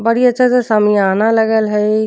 बड़ी अच्छा सा सामियाना लगल हई।